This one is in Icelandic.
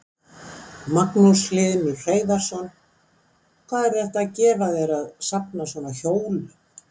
Magnús Hlynur Hreiðarsson: Hvað er þetta að gefa þér að safna svona hjólum?